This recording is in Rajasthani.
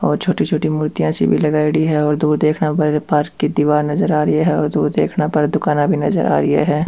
और छोटी छोटी मुर्तिया सी भी लगायोडी है और दूर देखने पर पार्क की दिवार नजर आ री है और दूर देखने पर दुकाना भी नजर आ री है।